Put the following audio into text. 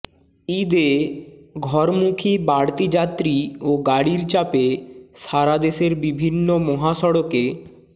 ঈদে ঘরমুখী বাড়তি যাত্রী ও গাড়ির চাপে সারাদেশের বিভিন্ন মহাসড়কে